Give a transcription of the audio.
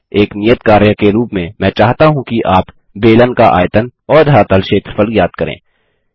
एक नियत कार्य के रूप में मैं चाहता हूँ कि आप बेलन का आयतन और धरातल क्षेत्रफल ज्ञात करें